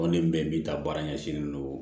ni bɛn min ta baara ɲɛsinnen don